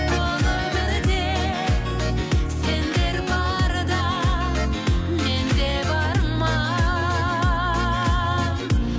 бұл өмірде сендер барда мен де бармын